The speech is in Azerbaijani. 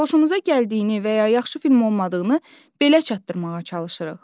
Xoşumuza gəldiyini və ya yaxşı film olmadığını belə çatdırmağa çalışırıq.